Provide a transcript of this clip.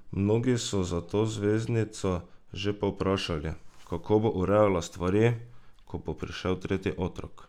Mnogi so zato zvezdnico že povprašali, kako bo urejala stvari, ko bo prišel tretji otrok?